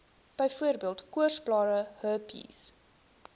byvoorbeeld koorsblare herpes